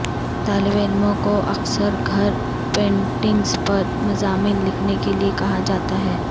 طالب علموں کو اکثر گھر پینٹنگز پر مضامین لکھنے کے لئے کہا جاتا ہے